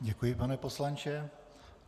Děkuji, pane poslanče.